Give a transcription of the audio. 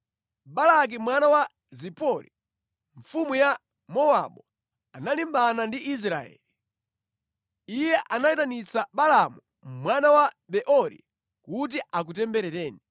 Balaki mwana wa Zipori, mfumu ya Mowabu, analimbana ndi Israeli. Iye anayitanitsa Balaamu mwana wa Beori kuti akutemberereni.